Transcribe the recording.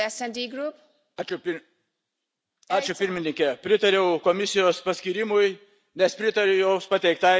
Ačiū pirmininke, pritariau Komisijos paskyrimui, nes pritariu jos pateiktai žaliosios socialinės krypties veiklai.